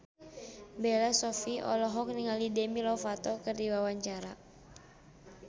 Bella Shofie olohok ningali Demi Lovato keur diwawancara